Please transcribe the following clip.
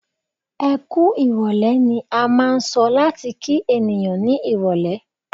"Ẹkú ìrọ̀lẹ́" ni a máà ń sọ láti kí ènìyàn ní irọ̀lẹ́.